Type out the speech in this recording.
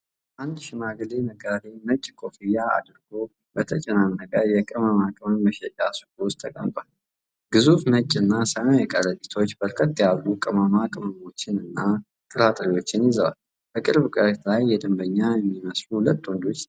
አንድ ሽማግሌ ነጋዴ ነጭ ኮፍያ አድርጎ፤ በተጨናነቀ የቅመማ ቅመም መሸጫ ሱቅ ውስጥ ተቀምጧል። ግዙፍ ነጭና ሰማያዊ ከረጢቶች በርከት ያሉ ቅመማ ቅሞችንና ጥራጥሬዎችን ይዘዋል። በቅርብ ርቀት ላይ የደንበኛ የሚመስሉ ሁለት ወንዶች ይታያሉ።